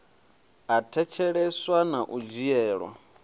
a thetsheleswa na u dzhielwa